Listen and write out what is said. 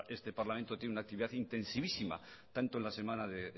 este parlamento tiene una actividad intensivísima tanto en la semana